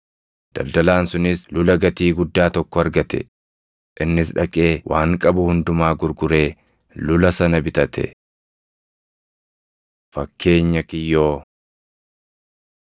Daldalaan sunis lula gatii guddaa tokko argate; innis dhaqee waan qabu hundumaa gurguree lula sana bitate. Fakkeenya Kiyyoo